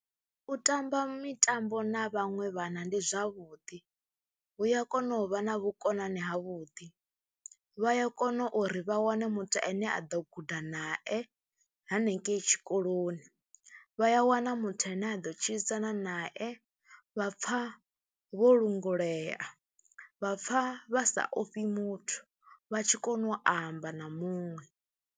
U tamba mitambo na vhaṅwe vhana ndi zwavhuḓi, hu ya kona u vha na vhukonani havhuḓi, vha ya kona uri vha wane muthu ane a ḓo guda nae hanengei tshikoloni, vha ya wana muthu ane a ḓo tshilisana nae vha pfha vho lungulea, vha pfha vha sa ofhi muthu vha tshi kona u amba na muṅwe.